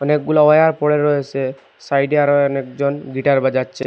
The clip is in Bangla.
অনেকগুলা ওয়ার পড়ে রয়েসে সাইডে আরও অনেকজন গিটার বাজাচ্ছে।